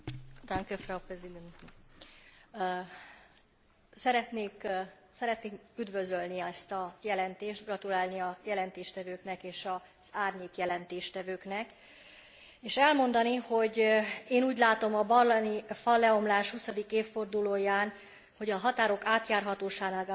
Szeretném üdvözölni ezt a jelentést, gratulálni a jelentéstevőknek és az árnyékjelentés tevőknek, és elmondani, hogy én úgy látom a berlini falleomlás huszadik évfordulóján, hogy a határok átjárhatóságának biztosítása a nyugat balkáni országok esetében